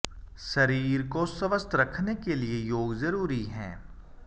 शरीर को स्वस्थ रखने के लिए योग जरुरी है